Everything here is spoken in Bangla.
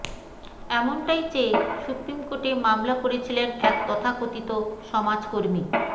এমনটাই চেয়ে সুপ্রিম কোর্টে মামলা করেছিলেন এক তথাকথিত সমাজকর্মী